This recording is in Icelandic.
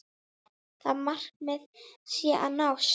Það markmið sé að nást.